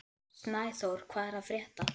Snæþór, hvað er að frétta?